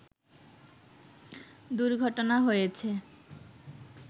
দুর্ঘটনা হয়েছে